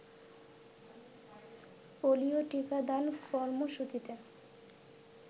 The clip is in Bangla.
পোলিও টিকাদান কর্মসূচিতে